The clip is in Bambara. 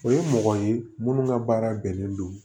O ye mɔgɔ ye minnu ka baara bɛnnen don